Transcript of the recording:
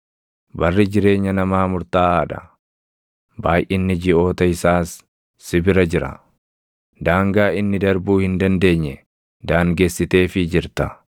Barri jireenya namaa murtaaʼaa dha; baayʼinni jiʼoota isaas si bira jira; daangaa inni darbuu hin dandeenye daangessiteefii jirta.